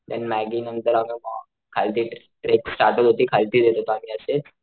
देणं मॅग्गी नंतर आम्ही मग खालती ट्रेक स्टार्ट केली खालती येत होतो आम्ही अशे,